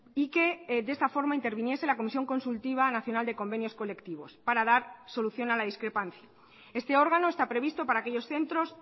y que de esta forma interviniese la comisión consultiva nacional de convenios colectivos para dar solución a la discrepancia este órgano está previsto para aquellos centros